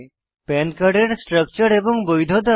পান কার্ডের স্ট্রাকচার এবং বৈধতা